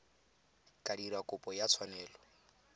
ka dira kopo ya tshwanelo